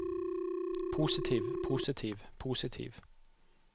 positiv positiv positiv